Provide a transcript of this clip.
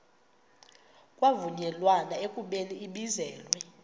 kwavunyelwana ekubeni ibizelwe